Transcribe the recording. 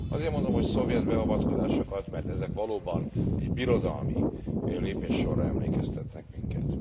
Azért mondom, hogy szovjet beavatkozásokat, mert ezek valóban egy birodalmi lépéssorra emlékeztetnek minket.